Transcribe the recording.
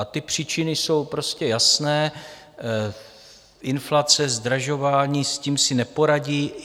A ty příčiny jsou prostě jasné, inflace, zdražování, s tím si neporadí.